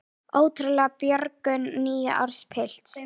Ótrúleg björgun níu ára pilts